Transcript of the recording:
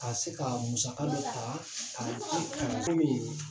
Ka se ka musaka dɔ ta k'a di kalan komin